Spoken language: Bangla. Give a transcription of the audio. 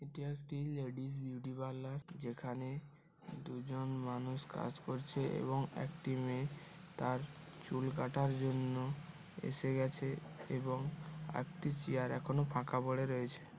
এটি একটি লেডিস বিউটি পার্লার যেখানে দুজন মানুষ কাজ করছে এবং একটি মেয়ে তার চুল কাটার জন্য এসে গেছ এবং একটি চেয়ার এখনো ফাঁকা পড়ে রয়েছে।